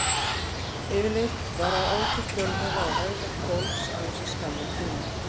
Yfirleitt vara áhrif fjölmiðla á hegðun fólks aðeins í skamman tíma.